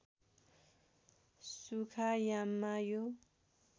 सुखा याममा यो